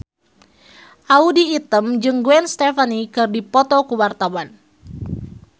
Audy Item jeung Gwen Stefani keur dipoto ku wartawan